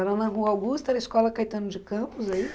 Era na Rua Augusta, era a Escola Caetano de Campos, é